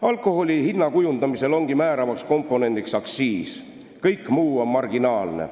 Alkoholi hinna kujundamisel ongi määravaks komponendiks aktsiis, kõik muu on marginaalne.